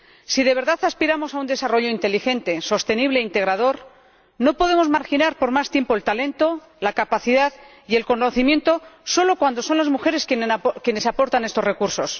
Si de verdad aspiramos a un desarrollo inteligente, sostenible e integrador, no podemos marginar por más tiempo el talento, la capacidad y el conocimiento solo cuando son las mujeres quienes aportan estos recursos.